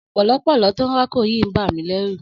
Ọ̀pọ̀lọ́pọ̀lọ́ tó ń rákò yìí ń bà mí lẹ́rù.